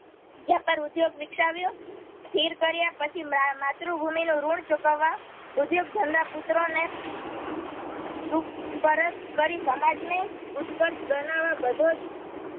વ્યાપાર ઉદ્યોગ વીક્ષાવ્યો સ્થિર કર્યાપછી માં માતૃભૂમિનું ઋણ ચૂકવા ઉદ્યોગધંદા પુત્રોને સૂક પરત કરી સમાજને ઉત્કર્ષ બનાવા બધોજ